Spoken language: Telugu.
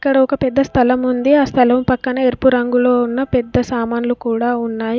ఇక్కడ ఒక పెద్ద స్థలముంది ఆ స్థలము పక్కన ఎరుపు రంగులో ఉన్న పెద్ద సామాన్లు కూడా ఉన్నాయి.